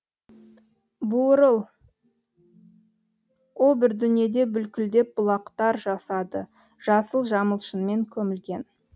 буырыл о бір дүниеде бүлкілдеп бұлақтар жасады жасыл жамылшынмен көмілген